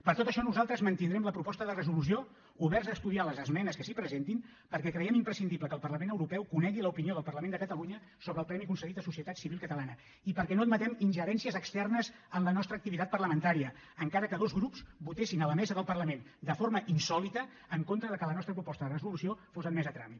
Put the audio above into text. per tot això nosaltres mantindrem la proposta de resolució oberts a estudiar les esmenes que s’hi presentin perquè creiem imprescindible que el parlament europeu conegui l’opinió del parlament de catalunya sobre el premi concedit a societat civil catalana i perquè no admetem ingerències externes en la nostra activitat parlamentària encara que dos grups votessin a la mesa del parlament de forma insòlita en contra que la nostra proposta de resolució fos admesa a tràmit